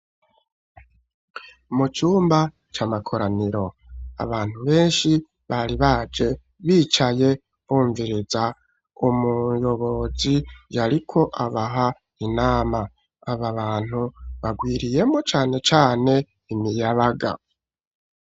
Mu cumba c'amakoraniro, abantu benshi bari baje bicaye bumviriza umuyobozi yariko abaha inama, aba bantu bagwiriyemwo cane cane imiyabaga.